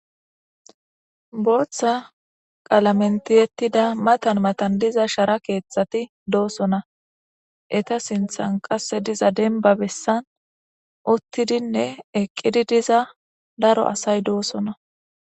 Booththa qalamen tiyettida matan matan diza shara keethati doosona. Eta sinthan qasse diza dembba bessan uttidinne eqqidi diza daro asay doosona.